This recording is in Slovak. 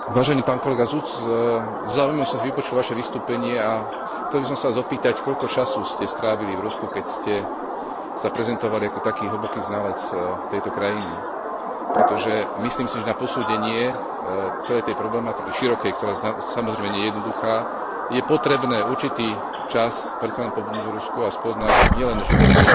Vážený pán kolega, so záujmom som si vypočul vaše vystúpenie a chcel by som sa vás opýtať, koľko času ste strávili v Rusku, keď ste sa prezentovali ako taký hlboký znalec tejto krajiny, pretože si myslím, že na posúdenie celej tej širokej problematiky, ktorá, samozrejme, nie je jednoduchá, je potrebné určitý čas predsa len pobudnúť v Rusku a spoznať nielen životy